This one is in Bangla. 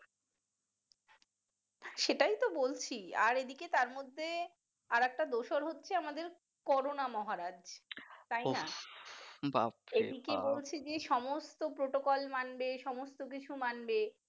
সেটাইতো বলছি আর এইদিকে তারমধ্যে আর একটা দোষর হচ্ছে আমাদের করোনা মহারাজ এইদিকে বলছে যে সমস্ত protocol মানবে সমস্ত কিছু মানবে